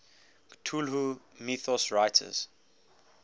cthulhu mythos writers